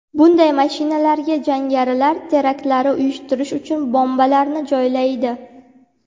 Bunday mashinalarga jangarilar teraktlar uyushtirish uchun bombalarni joylaydi.